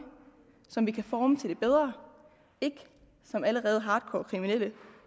som vi kan forme til det bedre ikke som allerede hardcore kriminelle